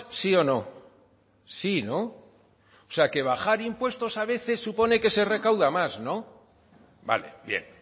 sí o no sí no o sea que bajar impuestos a veces supone que se recauda más no vale bien